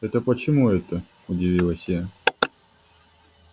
это почему это удивилась я